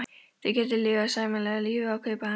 Þau gætu lifað sæmilegu lífi af kaupinu hans einu.